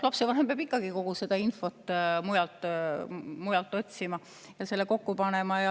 Lapsevanem peab ikkagi kogu seda infot mujalt otsima ja selle kokku panema.